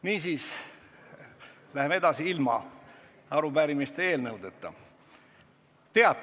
Niisiis läheme edasi ilma arupärimiste ja eelnõudeta.